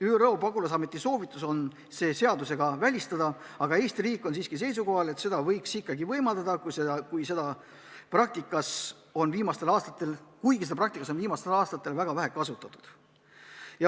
ÜRO pagulasameti soovitus on see seadusega välistada, aga Eesti riik on seisukohal, et seda võiks ikkagi võimaldada, kuigi praktikas on seda viimastel aastatel väga vähe kasutatud.